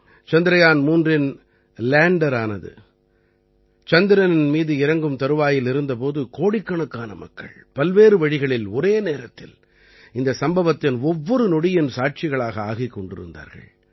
சந்திரயான் 3இன் லேண்டரானது சந்திரனின் மீது இறங்கும் தருவாயில் இருந்த போது கோடிக்கணக்கான மக்கள் பல்வேறு வழிகளில் ஒரே நேரத்தில் இந்தச் சம்பவத்தின் ஒவ்வொரு நொடியின் சாட்சிகளாக ஆகிக் கொண்டிருந்தார்கள்